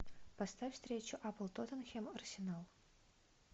поставь встречу апл тоттенхэм арсенал